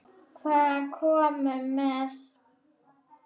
Hvað komum við með?